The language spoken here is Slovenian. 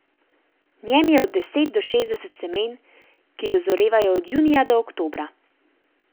V njem je od deset do šestdeset semen, ki dozorevajo od junija do oktobra.